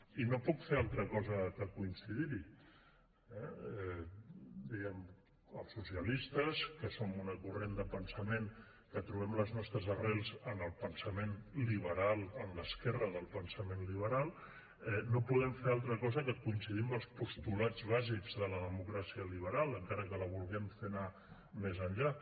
i no puc fer altra cosa que coincidir hi eh els socialistes que som un corrent de pensament que trobem les nostres arrels en el pensament liberal en l’esquerra del pensament liberal no podem fer altra cosa que coincidir amb els postulats bàsics de la democràcia liberal encara que la vulguem fer anar més enllà